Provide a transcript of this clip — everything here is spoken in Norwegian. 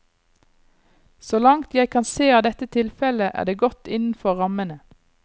Så langt jeg kan se av dette tilfellet, er det godt innenfor rammene.